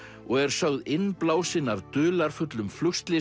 og er sögð innblásin af dularfullum flugslysum